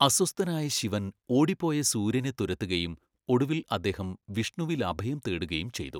അസ്വസ്ഥനായ ശിവൻ ഓടിപ്പോയ സൂര്യനെ തുരത്തുകയും ഒടുവിൽ അദ്ദേഹം വിഷ്ണുവിൽ അഭയം തേടുകയും ചെയ്തു.